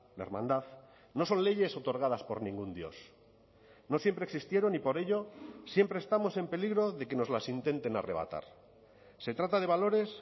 la hermandad no son leyes otorgadas por ningún dios no siempre existieron y por ello siempre estamos en peligro de que nos las intenten arrebatar se trata de valores